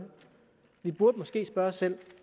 vi burde måske spørge os selv